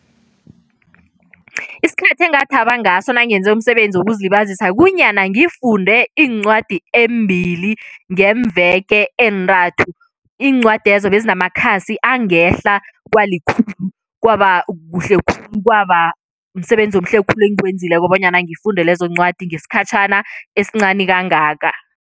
Isikhathi engathaba ngaso nangenze umsebenzi wokuzilibazisa kunyana ngifunde iincwadi eembili ngeemveke eentathu. Iincwadezo bezinamakhasi angehla kwalikhulu. Kwaba kuhle khulu, kwaba msebenzi omuhle khulu engiwenzileko bonyana ngifunde lezo ncwadi ngesikhatjhana esincani kangaka.